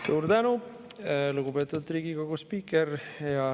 Suur tänu, lugupeetud Riigikogu spiiker!